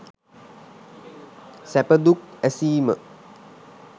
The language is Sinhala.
සැපදුක් ඇසීම